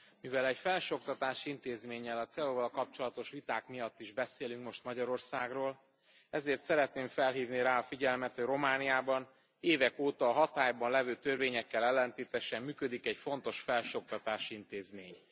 Elnök Asszony, mivel egy felsőoktatási intézménnyel, a CEU val kapcsolatos viták miatt is beszélünk most Magyarországról, ezért szeretném felhívni rá a figyelmet, hogy Romániában évek óta hatályban levő törvényekkel ellentétesen működik egy fontos felsőoktatási intézmény.